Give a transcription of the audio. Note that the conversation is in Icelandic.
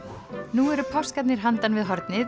nú eru páskarnir handan við hornið